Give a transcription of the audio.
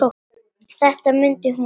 Þetta mundi hún allt.